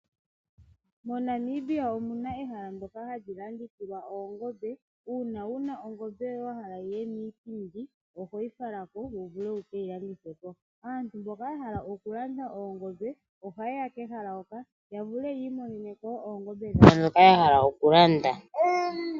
MoNamibia omuna ehala ndjoka hali landithilwa oongombe. Uuna wuna ongombe yoye wahala yiye miipindi ohoyi falako wu vule wukeyi landithe po. Aantu mboka ya hala okulanda oongombe oha yeya kehala hoka ya vule yiimonene ko oongombe dhawo ndhoka ya hala okulanda.